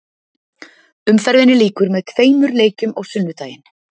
Umferðinni lýkur með tveimur leikjum á sunnudaginn.